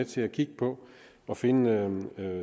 til at kigge på at finde